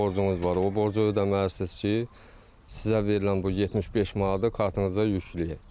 Borcunuz var, o borcu ödəməlisiniz ki, sizə verilən bu 75 manatı kartınıza yükləyək.